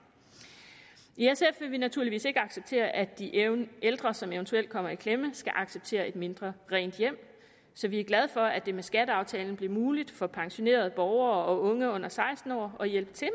i vi naturligvis ikke acceptere at de ældre som eventuelt kommer i klemme skal acceptere et mindre rent hjem så vi er glade for at det med skatteaftalen blev muligt for pensionerede borgere og unge under seksten år at hjælpe til